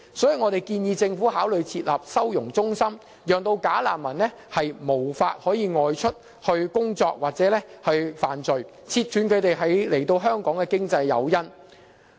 因此，我們建議政府考慮設立收容中心，令"假難民"無法外出工作或犯罪，切斷他們來港的經濟誘因。